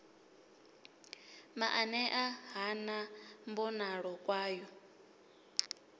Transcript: maanea ha na mbonalo kwayo